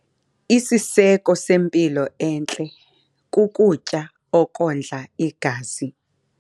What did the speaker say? Isiseko sempilo entle kukutya okondla igazi.